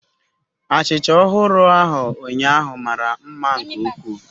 Achịcha ọhụrụ ahụ ụnyaahụ mara mma nke ukwuu